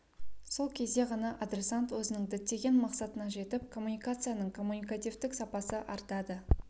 сол кезде ғана адресант өзінің діттеген мақсатына жетіп коммуникацияның коммуникативтік сапасы артады